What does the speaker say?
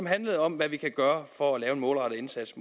handlede om hvad vi kan gøre for at lave en målrettet indsats